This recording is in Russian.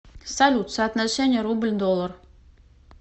салют соотношение рубль доллар